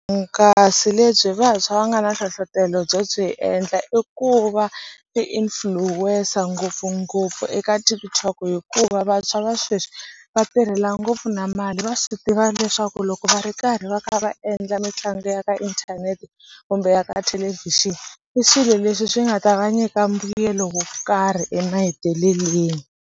lebyi vantshwa va nga na nhlohlotelo byo swi endla i ku va ti-influencer ngopfungopfu eka TikTok hikuva vantshwa va sweswi va tirhela ngopfu na mali va swi tiva leswaku loko va ri karhi va kha va endla mitlangu ya ka inthanete kumbe ya ka thelevishini i swilo leswi swi nga ta va nyika mbuyelo wo karhi emahetelelweni.